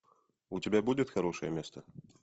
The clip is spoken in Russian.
у тебя будет хорошее место